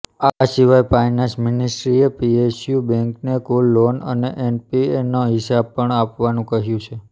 આ સિવાય પાયનાન્સ મિનિસ્ટ્રીએ પીએસયૂ બેંકોને કુલ લોન અને એનપીએનો હિસાબ પણ આપવાનું કહ્યું છે